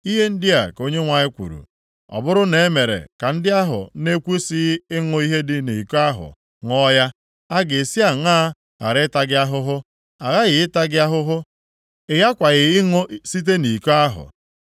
Ihe ndị a ka Onyenwe anyị kwuru, “Ọ bụrụ na e mere ka ndị ahụ na-ekwesighị ịṅụ ihe dị nʼiko ahụ ṅụọ ya, a ga-esi aṅaa ghara ịta gị ahụhụ? A ghaghị ịta gị ahụhụ; ị ghakwaghị ịṅụ site nʼiko ahụ.”